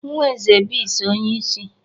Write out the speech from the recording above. Nwa eze bis onye isi